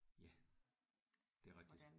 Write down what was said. Ja det er rigtigt